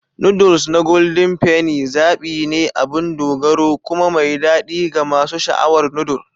Noodles na Golden Penny zaɓi ne abin dogaro kuma mai daɗi ga masu sha'awar noodle.